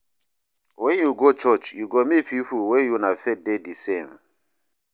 Wen yu go church yu go meet pipo wey una faith dey de same.